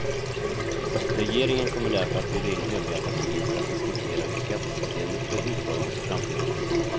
Regeringen kommer därför att bjuda in övriga partier för att diskutera hur skattesystemet bör utformas i framtiden.